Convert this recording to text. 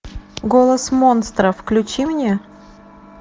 голос монстра включи мне